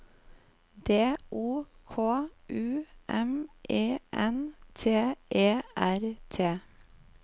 D O K U M E N T E R T